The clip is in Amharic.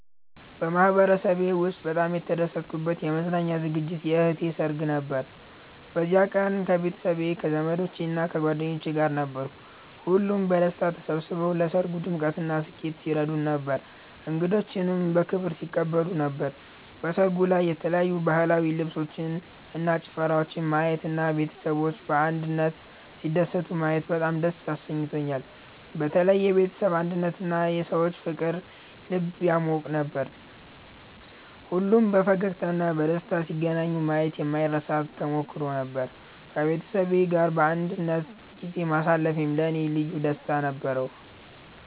በማህበረሰቤ ውስጥ በጣም የተደሰትኩበት የመዝናኛ ዝግጅት የእህቴ ሰርግ ነበር። በዚያ ቀን ከቤተሰቤ፣ ከዘመዶቻችን እና ከጓደኞቻችን ጋር ነበርኩ። ሁሉም በደስታ ተሰብስበው ለሰርጉ ድምቀትና ስኬት ሲረዱን ነበር፣ እንግዶችንም በክብር ሲቀበሉ ነበር። በሰርጉ ላይ የተለያዩ ባህላዊ ልብሶችን እና ጭፈራወችን ማየት እና ቤተሰቦች በአንድነት ሲደሰቱ ማየት በጣም ደስ አሰኝቶኛል። በተለይ የቤተሰብ አንድነትና የሰዎች ፍቅር ልብ ያሟቅ ነበር። ሁሉም በፈገግታ እና በደስታ ሲገናኙ ማየት የማይረሳ ተሞክሮ ነበር። ከቤተሰቤ ጋር በአንድነት ጊዜ ማሳለፌም ለእኔ ልዩ ደስታ ነበረው።